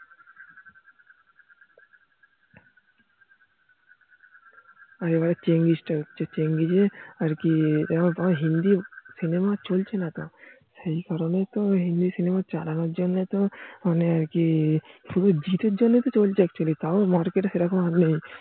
আর এইবারে চেঙ্গিস তা হচ্ছে চেঙ্গিসে আর কি তেমন হিন্দি সিনেমা চলছে না তো সেই কারোনে তো হিন্দি সিনেমা চালানোর জন্য তো মানে কি! শুধু জিতের জন্য তো চলছে actually তও মেরেকেটে সেরকম নেই